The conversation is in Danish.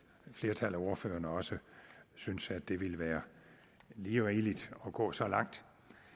flertal af ordførerne også synes at det ville være lige rigeligt at gå så langt